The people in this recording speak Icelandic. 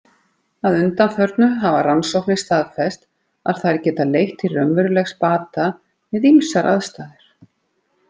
Að undanförnu hafa rannsóknir staðfest að þær geta leitt til raunverulegs bata við ýmsar aðstæður.